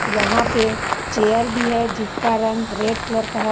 यहां पे चेयर भी है जिसका रंग रेड कलर का है।